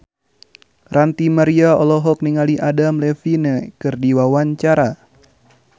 Ranty Maria olohok ningali Adam Levine keur diwawancara